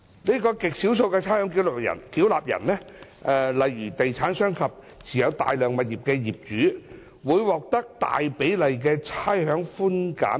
這些極少數的差餉繳納人，例如地產商及持有大量物業的業主，會獲得大比例的差餉寬減額。